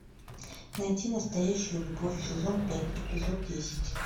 найти настоящую любовь сезон пять эпизод десять